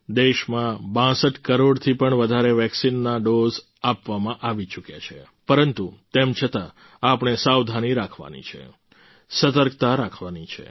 દેશમાં 62 કરોડથી પણ વધારે વેક્સિનના ડોઝ આપવામાં આવી ચૂક્યા છે પરંતુ તેમ છતાં આપણે સાવધાની રાખવાની છે સતર્કતા રાખવાની છે